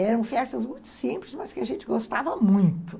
Eram festas muito simples, mas que a gente gostava muito.